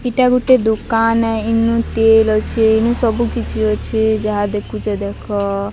ଇଟା ଗୁଟେ ଦୁକାନ ହେ। ଇନୁ ତେଲେ ଅଛେ। ଇନୁ ସବୁ କିଛି ଅଛେ। ଜାହା ଦେଖିଚ ଦେଖ।